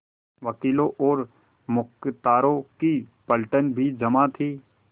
वकीलों और मुख्तारों की पलटन भी जमा थी